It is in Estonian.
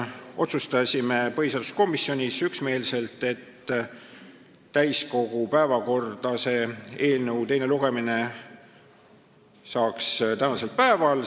Otsustasime põhiseaduskomisjonis üksmeelselt, et täiskogu päevakorras võiks selle eelnõu teine lugemine olla tänasel päeval.